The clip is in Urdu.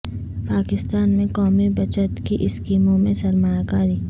پاکستان میں قومی بچت کی اسکیموں میں سرمایہ کاری